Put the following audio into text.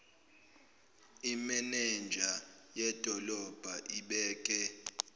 imenenja yedolobha ibeke